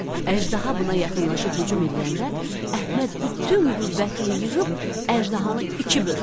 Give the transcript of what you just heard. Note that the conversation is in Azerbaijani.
Əjdaha buna yaxınlaşıb hücum eləyəndə Əhməd bütün qüvvətini yığıb əjdahanı iki böldü.